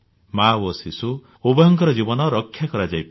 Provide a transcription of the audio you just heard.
ମା ଓ ଶିଶୁ ଉଭୟଙ୍କର ଜୀବନ ରକ୍ଷା କରାଯାଇପାରେ